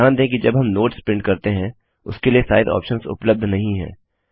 ध्यान दें कि जब हम नोट्स प्रिंट करते हैं उसके लिए साइज़ ऑप्शंस उपलब्ध नहीं हैं